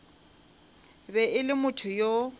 be e le motho yo